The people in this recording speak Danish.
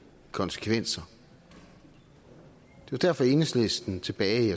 konsekvenser det var derfor at enhedslisten tilbage i